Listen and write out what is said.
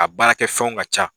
A baara kɛ fɛnw ka ca.